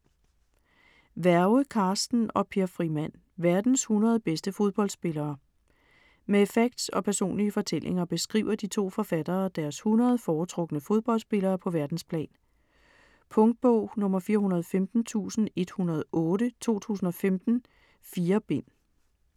Werge, Carsten og Per Frimann: Verdens 100 bedste fodboldspillere Med facts og personlige fortællinger beskriver de to forfattere deres 100 foretrukne fodboldspillere på verdensplan. Punktbog 415108 2015. 4 bind.